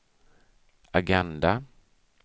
agenda